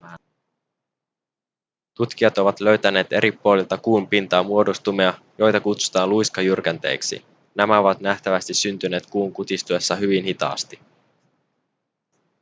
tutkijat ovat löytäneet eri puolilta kuun pintaa muodostumia joita kutsutaan luiskajyrkänteiksi nämä ovat nähtävästi syntyneet kuun kutistuessa hyvin hitaasti